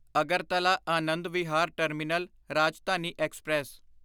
Agartala Anand Vihar terminal Rajdhani express